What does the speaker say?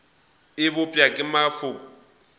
e bopša ke maloko a